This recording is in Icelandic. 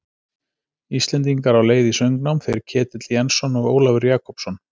Íslendingar á leið í söngnám, þeir Ketill Jensson og Ólafur Jakobsson.